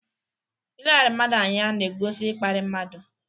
Ileghara mmadụ anya n'egosi ịkparị mmadụ.